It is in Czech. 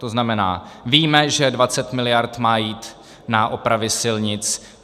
To znamená, víme, že 20 miliard má jít na opravy silnic.